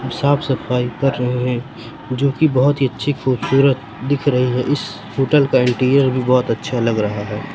साफ सफाई कर रहे हैं जो की बहुत ही अच्छी खूबसूरत दिख रही है इस होटल का इंटीरियर भी बहुत अच्छा लग रहा हैं।